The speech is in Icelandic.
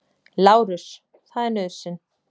LÁRUS: Það er nauðsyn.